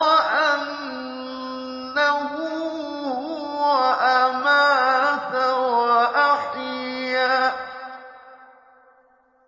وَأَنَّهُ هُوَ أَمَاتَ وَأَحْيَا